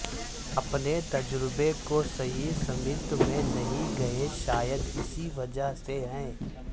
اپنے تجربے کو صحیح سمت میں نہیں گئے شاید اسی وجہ سے ہے